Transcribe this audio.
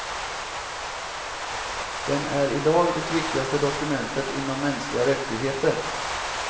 Den är i dag det viktigaste dokumentet inom mänskliga rättigheter.